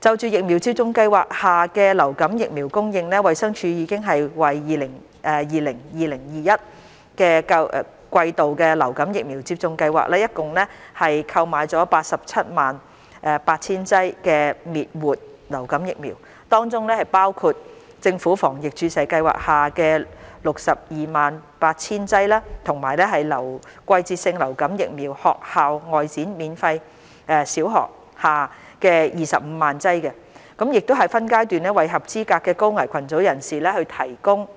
就疫苗接種計劃下的流感疫苗供應，衞生署已為 2020-2021 季度的疫苗接種計劃共訂購了 878,000 劑滅活流感疫苗，當中包括政府防疫注射計劃下 628,000 劑及"季節性流感疫苗學校外展—小學"下25萬劑，已分階段為合資格的高危群組人士提供